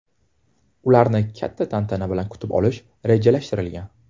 Ularni katta tantana bilan kutib olish rejalashtirilgan.